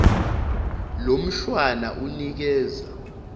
lo mshwana unikeza